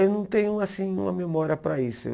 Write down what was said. Eu não tenho assim uma memória para isso.